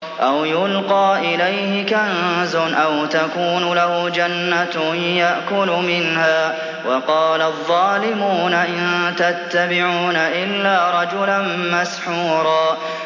أَوْ يُلْقَىٰ إِلَيْهِ كَنزٌ أَوْ تَكُونُ لَهُ جَنَّةٌ يَأْكُلُ مِنْهَا ۚ وَقَالَ الظَّالِمُونَ إِن تَتَّبِعُونَ إِلَّا رَجُلًا مَّسْحُورًا